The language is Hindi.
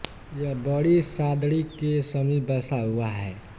यह बड़ी सादड़ी के समीप बसा हुआ है